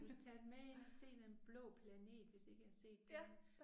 Du skal tage dem med ind og se Den Blå Planet hvis ikke I har set den